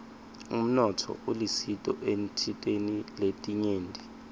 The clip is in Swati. umnotfo ulisito etintfweni letinyenti